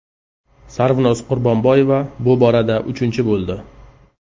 Sarvinoz Qurbonboyeva bu borada uchinchi bo‘ldi.